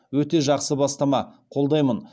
өте жақсы бастама қолдаймын